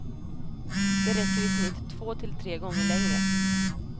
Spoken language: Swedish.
De räcker i snitt två till tre gånger längre.